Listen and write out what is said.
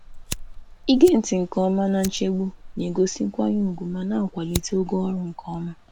Ige ntị nke ọma na nchegbu na-egosi nkwanye ùgwù ma na-akwalite ogo ọrụ nke ọma.